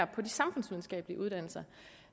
på de samfundsvidenskabelige uddannelser